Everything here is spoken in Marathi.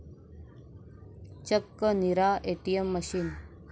चक्क 'नीरा एटीएम' मशीन!